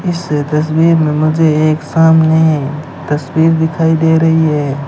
इससे तस्वीर में मुझे एक सामने तस्वीर दिखाई दे रही है।